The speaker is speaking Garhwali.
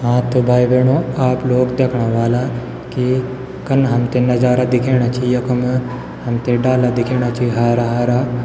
हाँ त भाई बहणों आप लोग दयेखणा ह्वाला की कन हमथे नजारा दिखेण छि यखम हमथे डाला दिखेणा छी हरा हरा।